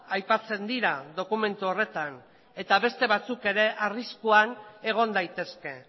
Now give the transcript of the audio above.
aipatzen dira dokumentu horretan eta beste batzuk ere arriskuan egon daitezke